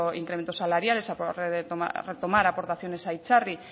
incrementos salariales retomar aportaciones a itzarri